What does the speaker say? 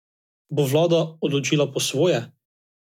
Bo vlada odločila po svoje?